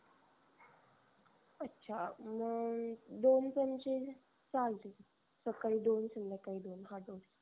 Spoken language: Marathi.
अच्छा मग दोन चमचे. चालते सकळी दोन संध्याकळी दोन हा दोन